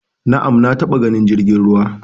Na'am, na taba ganin jirgin ruwa